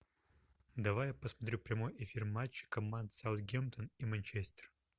давай я посмотрю прямой эфир матча команд саутгемптон и манчестер